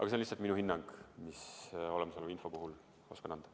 See on lihtsalt minu hinnang, mis ma olemasoleva info põhjal oskan anda.